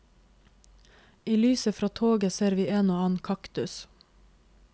I lyset fra toget ser vi en og annen kaktus.